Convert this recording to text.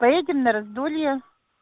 поедем на раздолье